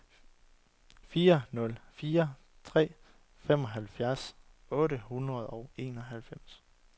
fire nul fire tre femoghalvfems otte hundrede og enoghalvfems